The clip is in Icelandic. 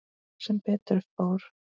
Sem betur fór.